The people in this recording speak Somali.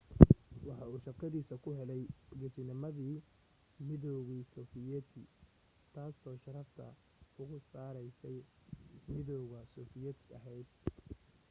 waxa uu shaqadiisa ku helay geesinamadii midowgii sofiyeeti taasoo sharafta ugu sarraysay midowga sofiyeeti ahayd